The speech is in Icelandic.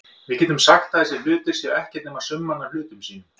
Við getum sagt að þessir hlutir séu ekkert nema summan af hlutum sínum.